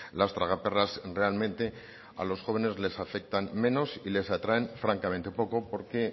las tragaperras realmente a los jóvenes les afectan menos y les atraen francamente poco porque